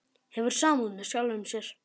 Hefur samúð með sjálfum sér.